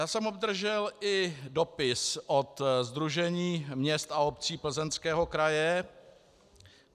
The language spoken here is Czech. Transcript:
Já jsem obdržel i dopis od Sdružení měst a obcí Plzeňského kraje.